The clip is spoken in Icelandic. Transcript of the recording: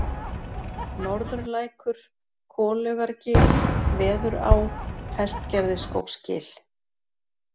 Norðurlækur, Golaugargil, Veðurá, Hestgerðisskógsgil